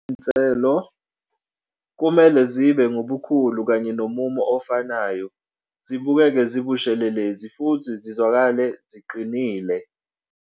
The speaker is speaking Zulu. Izinselo- Kumele zibe ngubukhulu kanye nomumo ofanayo, zibukeke zibushelelezi futhi zizwakale ziqinile.